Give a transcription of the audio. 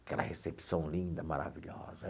Aquela recepção linda, maravilhosa.